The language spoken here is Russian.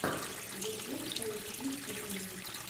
ютуб поищи стримы